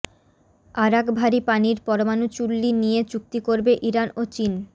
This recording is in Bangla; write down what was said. আরাক ভারি পানির পরমাণু চুল্লি নিয়ে চুক্তি করবে ইরান ও চীন